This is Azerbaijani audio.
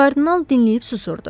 Kardinal dinləyib susurdu.